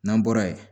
N'an bɔra yen